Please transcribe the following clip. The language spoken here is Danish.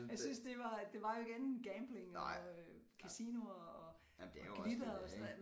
Jeg synes det var det var jo ikke andet en gambling og øh casioner og glitter og sådan noget